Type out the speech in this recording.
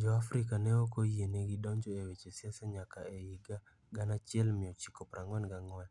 Jo-Afrika ne ok oyienegi donjo e weche siasa nyaka e higa 1944,